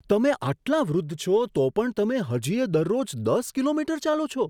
તમે આટલા વૃદ્ધ છો, તો પણ તમે હજીય દરરોજ દસ કિમી ચાલો છો?